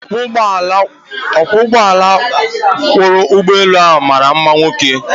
Ọkwọụgbọala kwọrọ ụgbọelu ahụ mara mma nwoke.